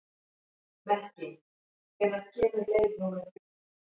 Mekkin, hvenær kemur leið númer þrjú?